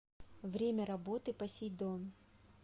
время работы посейдон